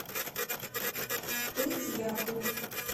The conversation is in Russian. пыть яху